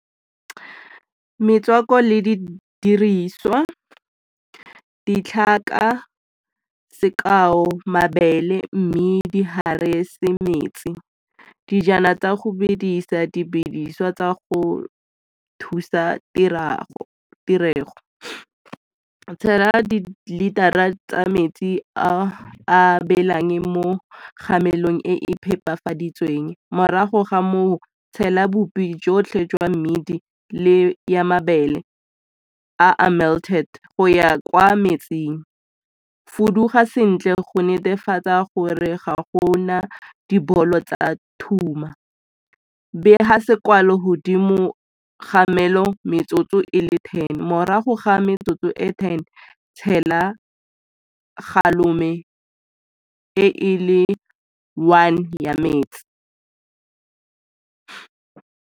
Metswako le di diriswa, ditlhaka. Sekao mabele, mmidi, , metsi, dijana tsa go bedisa, di bidisiwa tsa go thusa tirego. Tshela dilitara tsa metsi a belang mo kgamelong e phepafaditsweng, morago ga moo tshela bopi jotlhe jwa mmidi le ya mabele a a melted go ya kwa metsing. Fuduga sentle go netefatsa gore ga go na dibolo tsa thuma. godimo kgamelo metsotso e le ten, morago ga metsotso e ten tshela e e le one ya metsi.